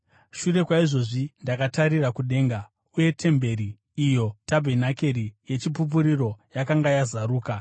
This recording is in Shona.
Shure kwaizvozvi ndakatarira kudenga, uye temberi, iyo tabhenakeri yeChipupuriro, yakanga yakazaruka.